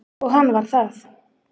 Og hann var það.